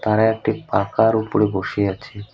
তারা একটি পাকার উপরে বসে আছে।